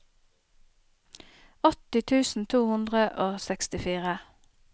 åtti tusen to hundre og sekstifire